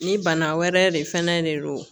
Ni bana wɛrɛ de fɛnɛ de don